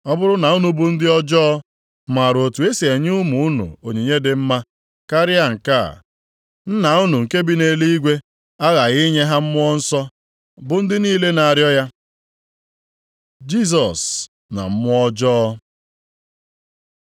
Ọ bụrụ na unu bụ ndị ọjọọ, maara otu esi enye ụmụ unu onyinye dị mma, karịa nke a, Nna unu nke bi nʼeluigwe aghaghị inye ha Mmụọ Nsọ bụ ndị niile na-arịọ ya.” Jisọs na mmụọ ọjọọ